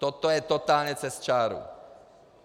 Toto je totálně přes čáru.